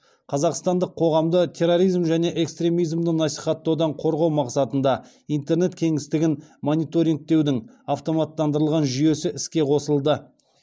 қазақстандық қоғамды терроризм және экстремизмді насихаттаудан қорғау мақсатында интернет кеңістігін мониторингтеудің автоматтандырылған жүйесі іске қосылды